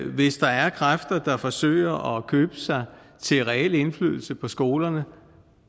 hvis der er kræfter der forsøger at købe sig til reel indflydelse på skolerne